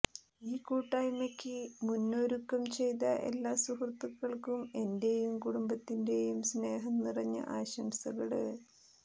ഈ കൂട്ടായ്മക്ക് മുന്നോരുക്കം ചെയ്ത എല്ലാ സുഹൃത്തുകള്ക്കും എന്റെയും കുടുംബത്തിന്റെയും സ്നേഹം നിറഞ്ഞ ആശംസകള്